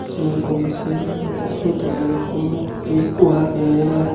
sen guri se guri syot oley ikko mukti ikko agey.